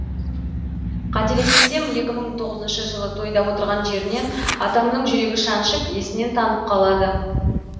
қателеспесем екі мың тоғызыншы жылы тойда отырған жерінен атамның жүрегі шаншып есінен танып қалады